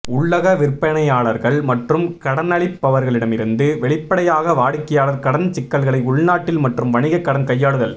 உள்ளக விற்பனையாளர்கள் மற்றும் கடனளிப்பவர்களிடமிருந்து வெளிப்படையாக வாடிக்கையாளர் கடன் சிக்கல்களை உள்நாட்டில் மற்றும் வணிக கடன் கையாளுதல்